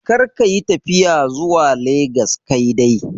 Kar ka yi tafiya zuwa legas kaidai.